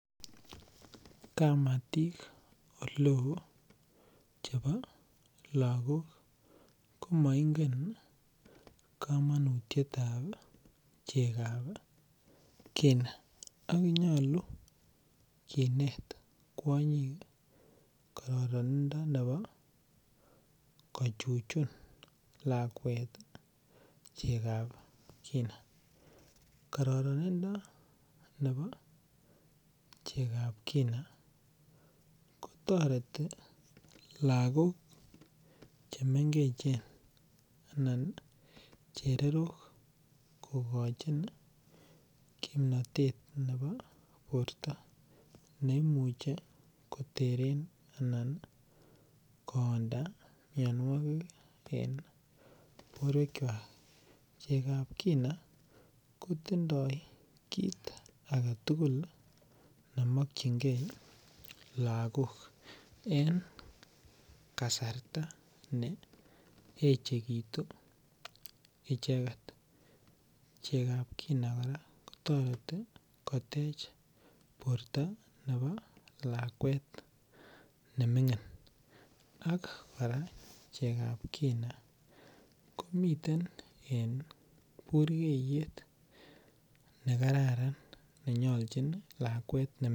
Kamatik oleo chebo lagok komoingen komonutietab chekab kina ako nyolu kinet kwonyik kororoninfi nebo kochuchun lakwet chekab kina, kororonindo nebo chekab kina kotoreti lagok chemengech anan chererok kokochin kimnotet borto neimuche koteren anan koonda mionuokik en boruekiak, chekab kina kotindo kit aketugul nemokyingee lagok en kasarta neechekitu icheget, chekab kina koraa kotoreti kotech borto nebo lakwet nemingin, ak koraa chekab kina komiten en burkeyet nekararan nenyoljin lakwet nemingin.